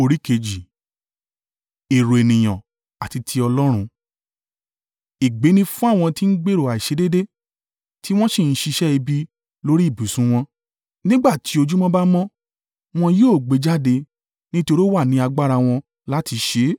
Ègbé ni fún àwọn tí ń gbèrò àìṣedéédéé tí wọ́n sì ń ṣiṣẹ́ ibi lórí ibùsùn wọn! Nígbà tí ojúmọ́ bá mọ́, wọn yóò gbé e jáde nítorí ó wà ní agbára wọn láti ṣe é.